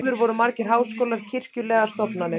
áður voru margir háskólar kirkjulegar stofnanir